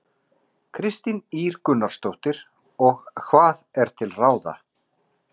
Kristín Ýr Gunnarsdóttir: Og hvað er til ráða?